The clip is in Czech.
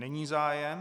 Není zájem.